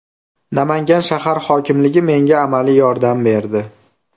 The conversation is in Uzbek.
Namangan shahar hokimligi menga amaliy yordam berdi.